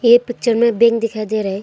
ये पिक्चर में बैंक दिखाई दे रहे--